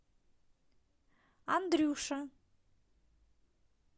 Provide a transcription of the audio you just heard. андрюша